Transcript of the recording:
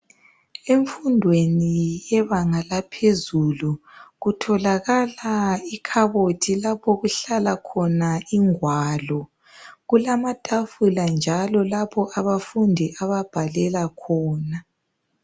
Emfundweni yebanga laphezuu kutholakala ikhabothi lapho okuhlala khona ingwalo. Kulamatafula njalo lapho abafundi ababhalela khona.